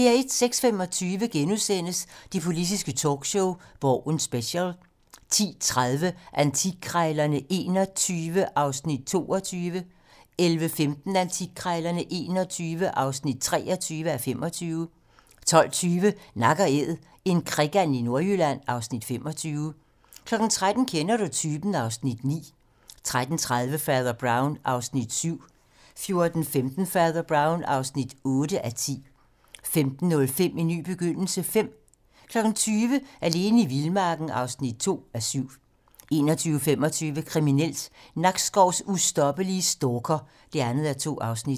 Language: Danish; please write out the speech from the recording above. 06:25: Det politiske talkshow - Borgen special * 10:30: Antikkrejlerne XXI (22:25) 11:15: Antikkrejlerne XXI (23:25) 12:20: Nak & Æd - en krikand i Nordjylland (Afs. 25) 13:00: Kender du typen? (Afs. 9) 13:30: Fader Brown (7:10) 14:15: Fader Brown (8:10) 15:05: En ny begyndelse V 20:00: Alene i vildmarken (2:7) 21:25: Kriminelt: Nakskovs ustoppelige stalker (2:2)